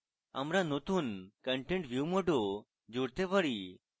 আমরা নতুন content view mode ও জুড়তে পারি